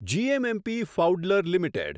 GMMP ફાઉડલર limited